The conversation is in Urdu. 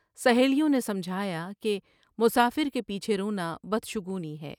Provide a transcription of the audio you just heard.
سہیلیوں نے سمجھایا کہ مسافر کے پیچھے رونا بدشگونی ہے ۔